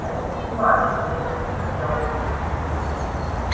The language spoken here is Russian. это не важно веско сказал он